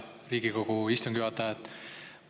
Hea Riigikogu istungi juhataja!